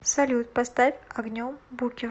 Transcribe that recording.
салют поставь огнем букер